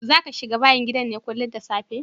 Zaka shiga bayn gidan ne kullin da safe?